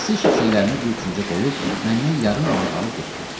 Nasışık şeylərimi bir küncə qoyub məndən yarım manat alıb getdi.